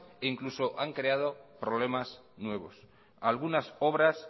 e incluso han creado problemas nuevos algunas obras